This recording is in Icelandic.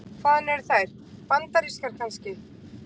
Hvaðan eru þær. bandarískar kannski?